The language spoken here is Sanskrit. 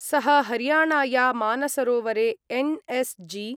सः हरियाणाया मानसरोवरे एन् एस् जि